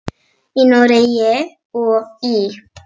Í Noregi og í